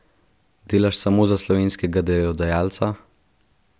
Delaš samo za slovenskega delodajalca?